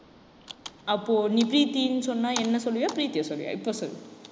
அப்போ நீ பிரீத்தீன்னு சொன்னா என்னை சொல்லுவியா பிரீத்தியை சொல்லுவியா இப்ப சொல்லு.